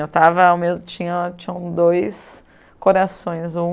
Eu estava ao mesmo, tinha tinham dois corações. Um